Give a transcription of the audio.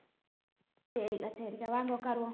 சரி அக்கா சரி அக்கா வாங்க உட்காருவோம்